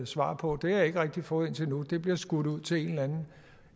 svar på det har jeg ikke rigtig fået indtil nu det bliver skudt ud til en eller anden